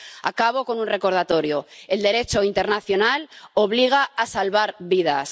Acabo con un recordatorio el Derecho internacional obliga a salvar vidas.